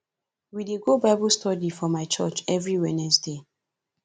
we dey go bible study for my church every wednesday